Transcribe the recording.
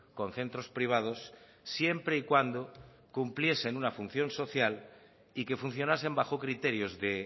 con centros privados siempre y cuando cumpliesen una función social y que funcionasen bajo criterios de